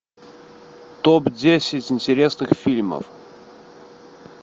топ десять интересных фильмов